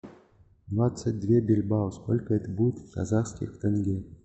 двадцать две бильбао сколько это будет в казахских тенге